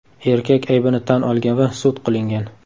Erkak aybini tan olgan va sud qilingan.